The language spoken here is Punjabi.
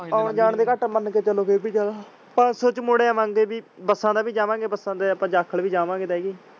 ਆਉਣ ਜਾਨ ਦਾ ਘਾਟਾ ਮੰਨ ਕੇ ਚਲੋ ਫੇਰ ਵੀ ਜਾਣਾ ਪੰਜ ਸੋ ਚ ਮੁੜ ਆਵਾਂਗੇ ਬਾਯੀ ਬੱਸਾਂ ਤੇ ਵੀ ਜਾਵਾਂਗੇ ਬੁਸਾਨ ਤੇ ਜਾਖਲ ਵੀ ਜਾਵਾਂਗੇ ਤਾਂ ਹੈ ਹੀ।